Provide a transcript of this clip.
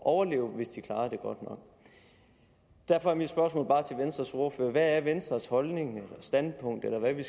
overleve hvis de klarede det godt nok derfor er mit spørgsmål bare til venstres ordfører hvad er venstres holdning eller standpunkt eller hvad det